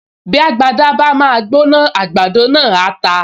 Bí agbada bá máa gbóná, àgbàdo náà á ta